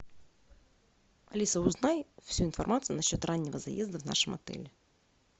алиса узнай всю информацию насчет раннего заезда в нашем отеле